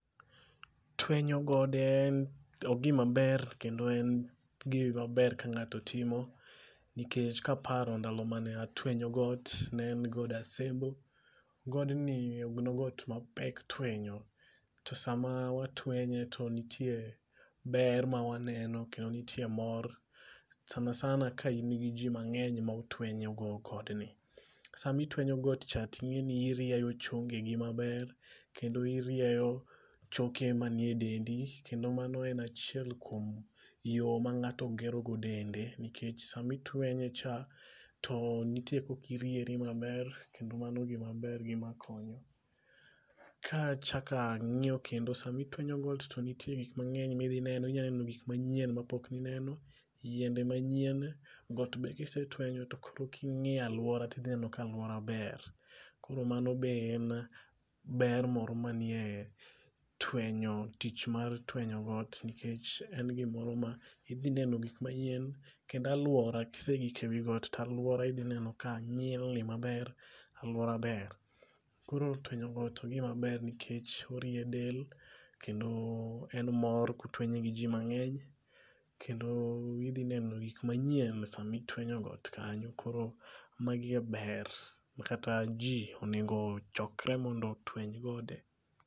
Twenye gode en ,ogima ber kendo en gima ber ka ng'ato timo nikech kaparo ndalo mane atwenyo got, ne en god Asembo. Godni nogot mapek twenyo to sama watwenye to nitie ber ma waneno kendo nitie mor sana sana ka in gi jii mangeny ma utwenyo go godni. Sama itwenyo got cha tingeni irieyo chongeni maber kendo irieyo choke mantie e dendi kendo mano en achiel kuom yoo ma ng'ato gero go dende nikech sama itwenye. cha to nitie kaka iriere maber kedo mano gima ber gima konyo. Ka achak angiyo kendo to sama itwenyo got to nitie gik mangeny midhi neno, inya neno gik manyien mapok ineno, yiende manyien, got be kisetwenyo to koro kingiyo aluora tidhi neno ka aluor aber, koro mano be en ber moro manie twenyo, tich mar twenyo got nikech in gimoro ma idhi neno gik manyien kendo aluora, kisegik ewi got to aluora idhi neno ka nyilni maber, aluor aber. Koro twenyo got ogima ber nikech orie del kendo en mor kotwenye gi jii mangeny kendo idhi neno gik manyien sama itwenyo got kanyo, koro magi e ber ma kata jii onego ochokre mondo otweny gode